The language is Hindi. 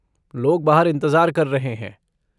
लोग बाहर इंतज़ार कर रहे हैं।